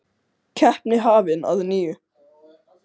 En hætt var við að það myndi ekki vera hægt færi það í einkaeigu.